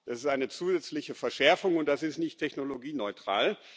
Das ist eine zusätzliche Verschärfung, und das ist nicht technologieneutral.